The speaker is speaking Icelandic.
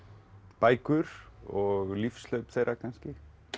bækur og lífshlaup þeirra kannski